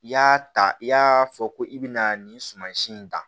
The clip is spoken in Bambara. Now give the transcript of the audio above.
I y'a ta i y'a fɔ ko i bɛna nin sumansi in ta